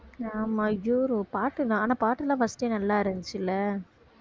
ஆமா அய்யோ பாட்டு ஆனா பாட்டுலாம் first நல்லா இருந்துச்சுல